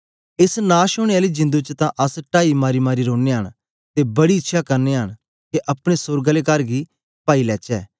एस नाश ओनें आली जिंदु च तां अस टाई मारीमारी रोनयां न ते बड़ी इच्छया करनयां न के अपने सोर्ग आले कर गी पाई लेचै